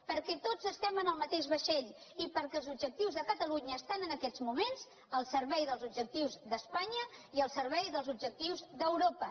perquè tots estem en el mateix vaixell i perquè els objectius de catalu·nya estan en aquests moments al servei dels objectius d’espanya i al servei dels objectius d’europa